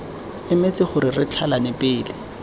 emetse gore re tlhalane pele